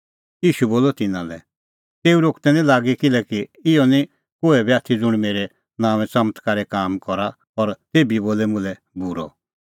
ईशू बोलअ तिन्नां लै तेऊ रोकदै निं लागी किल्हैकि इहअ निं कोहै बी आथी ज़ुंण मेरै नांओंऐं च़मत्कारे काम करा और तेभी बोले मुल्है बूरअ